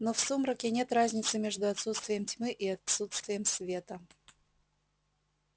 но в сумраке нет разницы между отсутствием тьмы и отсутствием света